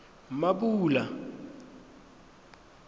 mmapule